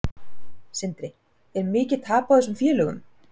Sindri: Er mikið tap á þessum félögum?